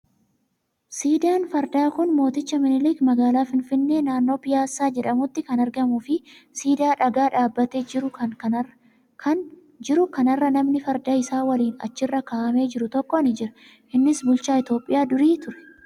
Siidaan fardaa kan mooticha minilik magaalaa finfinnee naannoo Piyaassaa jedhamutti kan argamuu fi siidaa dhagaa dhaabbatee jiru kanarra namni farda isaa waliin achirra kaa'amee jiru tokko ni jira. Innis bulchaa Itoophiyaa durii ture.